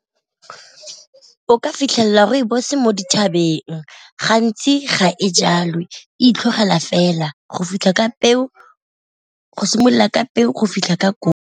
O ka fitlhelela rooibos mo dithabeng, gantsi ga e jalwe e itlhogela fela go fitlha ka peo, go simolola ka peo go fitlha .